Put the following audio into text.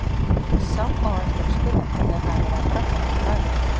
Sá á eftir að spyrja hvað þau hafi verið að bralla niðri í bæ.